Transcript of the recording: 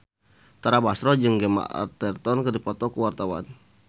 Tara Basro jeung Gemma Arterton keur dipoto ku wartawan